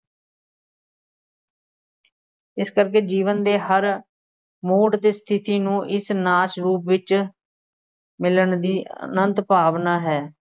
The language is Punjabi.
ਇਸ ਕਰਕੇ ਜੀਵਨ ਦੇ ਹਰ ਮੋੜ ਅਤੇ ਸਥਿਤੀ ਨੂੰ ਇਸ ਨਾਚ ਰੂਪ ਵਿੱਚ ਮਿਲਣ ਦੀ ਅਨੰਤ ਭਾਵਨਾ ਹੈ,